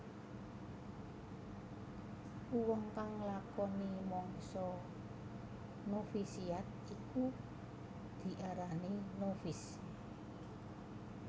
Uwong kang nglakoni mangsa novisiat iku diarani novis